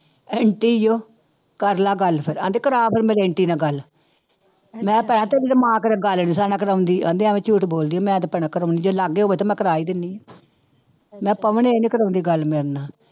Aunty ਉਹ ਕਰ ਲਾ ਗੱਲ ਫਿਰ, ਕਹਿੰਦੀ ਕਰਵਾ ਫਿਰ ਮੇਰੀ ਆਂਟੀ ਨਾਲ ਗੱਲ ਮੈਂ ਗੱਲ ਨੀ ਸਾਡੇ ਨਾਲ ਕਰਵਾਉਂਦੀ ਕਹਿੰਦੀ ਐਵੇਂ ਝੂਠ ਬੋਲਦੀ ਆ ਮੈਂ ਤੇ ਭੈਣਾ ਕਰੂੰ ਜੇ ਲਾਗੇ ਹੋਵੇ ਤਾਂ ਮੈਂ ਕਰਵਾ ਹੀ ਦਿੰਦੀ ਹਾਂ ਮੈਂ ਕਿਹਾ ਪਵਨ ਇਹ ਨੀ ਕਰਵਾਉਂਦੀ ਗੱਲ ਮੇਰੇ ਨਾਲ।